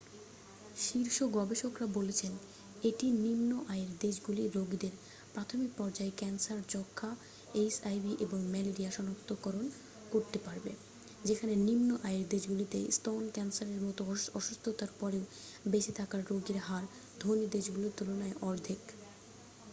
শীর্ষ গবেষকরা বলছেন এটি নিম্ন-আয়ের দেশগুলির রোগীদের প্রাথমিক পর্যায়ে ক্যান্সার যক্ষা এইচআইভি এবং ম্যালেরিয়া শনাক্তকরতে পারবে যেখানে নিম্ন আয়ের দেশগুলিতে স্তন ক্যান্সারের মতো অসুস্থতার পরে বেঁচে থাকার রোগীর হার ধনী দেশগুলির তুলনায় অর্ধেক